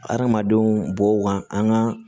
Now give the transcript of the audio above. Adamadenw bɔw ka an ka